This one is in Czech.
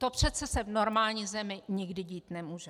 To přece se v normální zemi nikdy dít nemůže.